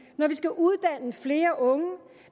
når vi skal uddanne flere unge